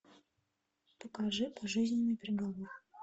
покажи пожизненный приговор